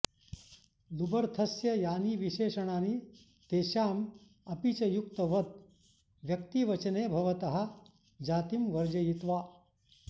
लुबर्थस्य यानि विशेषणानि तेषाम् अपि च युक्तवद् व्यक्तिवचने भवतः जातिं वर्जयित्वा